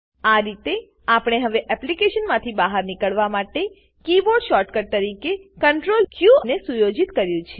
આ રીતે આપણે હવે એપ્લીકેશનથી બહાર નીકળવા માટે કીબોર્ડ શોર્ટકટ તરીકે Ctrl ક ને સુયોજિત કર્યું છે